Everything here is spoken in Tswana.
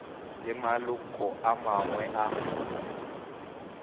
le maloko a mangwe a